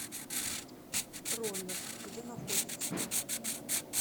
роллер где находится